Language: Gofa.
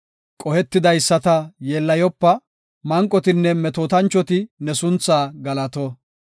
Qohetidaysata yeellayopa; manqotinne metootanchoti ne sunthaa galato.